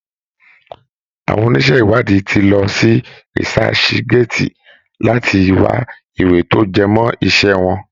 Àwọn oníṣẹ́ ìwádìí ti lọ sí researchgate láti wá ìwé tí ó jẹmọ́ iṣẹ́ wọn.